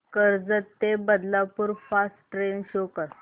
कर्जत ते Badlapur fast train show कर